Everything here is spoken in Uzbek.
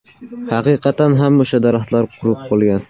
Haqiqatan ham o‘sha daraxtlar qurib bo‘lgan.